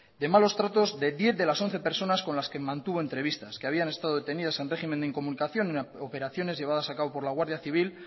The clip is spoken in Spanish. de malos tratos de diez de las once personas con las que mantuvo entrevistas que habían estado detenidas en régimen de incomunicación en operaciones llevadas a cabo por la guardia civil